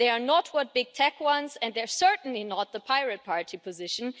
They are not what big tech wants and they are certainly not the Pirate Party position.